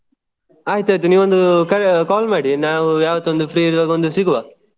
ಆಯ್ತ್ ಆಯ್ತ್ ನೀವು ಒಂದು ಕರೆ~ call ಮಾಡಿ ನಾವು ಯಾವತ್ತೂ ಒಂದು free ಇರುವಾಗ ಒಂದು ಸಿಗುವ.